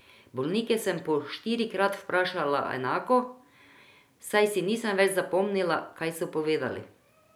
Bolnike sem po štirikrat vprašala enako, saj si nisem več zapomnila, kaj so povedali.